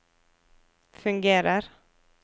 fungerer